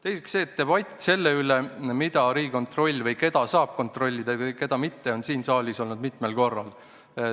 Teiseks, debatt selle üle, mida või keda Riigikontroll saab kontrollida ja keda mitte, on siin saalis olnud mitmel korral.